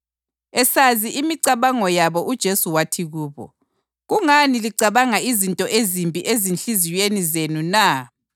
Esazi imicabango yabo uJesu wathi kubo, “Kungani licabanga izinto ezimbi ezinhliziyweni zenu na?